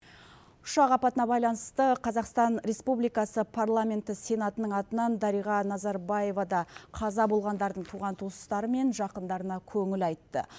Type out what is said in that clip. ұшақ апатына байланысты қазақстан республикасы парламенті сенатының атынан дариға назарбаева да қаза болғандардың туған туыстары мен жақындарына көңіл айтты